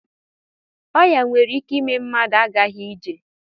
Ọya nwere ike ime mmadụ agaghi ije.